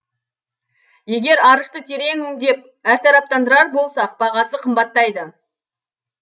егер арышты терең өңдеп әртараптандырар болсақ бағасы қымбаттайды